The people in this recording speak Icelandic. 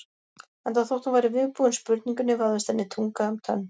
Enda þótt hún væri viðbúin spurningunni vafðist henni tunga um tönn.